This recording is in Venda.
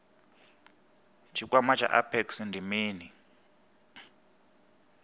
tshikwama tsha apex ndi mini